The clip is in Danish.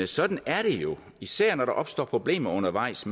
sådan er det jo især når der opstår problemer undervejs